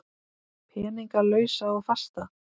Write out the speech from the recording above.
Peninga lausa og fasta?